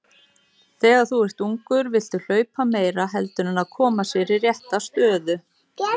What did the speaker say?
Rannsóknir beinast einnig að hugsanlegum röskunum á taugaboðefnum.